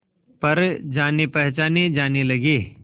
पर जानेपहचाने जाने लगे